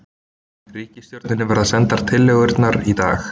Ríkisstjórninni verða sendar tillögurnar í dag